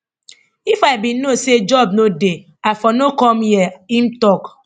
if i bin know say job no dey i for no come hia im tok